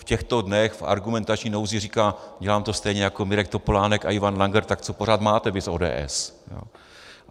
V těchto dnech v argumentační nouzi říká: dělám to stejně jako Mirek Topolánek a Ivan Langer, tak co pořád máte vy z ODS?